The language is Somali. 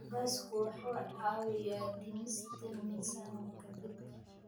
Basbaasku waxa uu caawiyaa dhimista miisaanka jidhka,